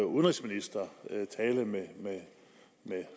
udenrigsminister tale med